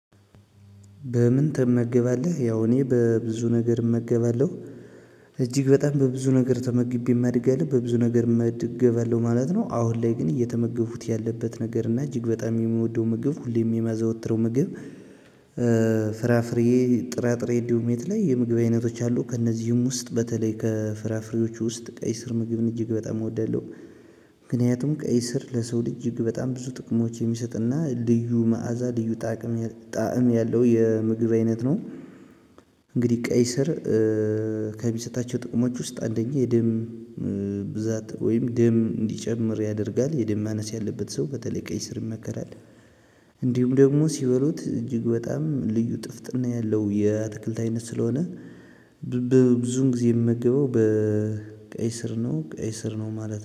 በምን? ትመገባለህ ያው እኔ በብዙ ነገር እመገባለሁ እጅግ በጣም በብዙ ነገር ተመግቤ አድጊያለሁ በብዙ ነገር እመገባለሁ ማለት ነው። አሁን ላይ ግን እየተመገቡት ያለበት ነገር እና እጅግ በጣም የምወደው ምግብ ሁሌም የማዘወትረው ምግብ። ፍራፍሬ ጥራጥሬ እንዲሁም የተለያዩ የምግብ አይነቶች አሉ። ከእነዚህም ውስጥ በተለይ ከፍራፍሬዎቹ ውስጥ ቀይ ስር ምግብን እጅግ በጣም እወዳለሁ። ምክንያቱም ቀይ ስር ለሰው እጅግ በጣም ብዙ ጥቅሞች የሚሰጥና ልዩ መዓዛ ልዩ ጣዕም ያለው የምግብ አይነት ነው። ቀይ ስር ከሚሰጣቸው ጥቅሞች ውስጥ አንደኛ የደም ብዛት ወይም ደም እንዲጨምር ያደርጋል የደም ማነስ ያለበት ሰው በተለይ ቀይ ስር ይመከራል። እንዲሁም ደግሞ ሲበሉት እጅግ በጣም ልዩ ጥፍጥና ያለው የአትክልት አይነት ስለሆነ። ብዙውን ጊዜ የምመገበው ቀይ ስር ነው ቀይ ስር ነው ማለት ነው